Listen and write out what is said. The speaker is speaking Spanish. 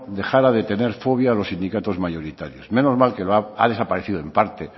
dejara de tener fobia a los sindicatos mayoritarios menos mal que ha desaparecido en parte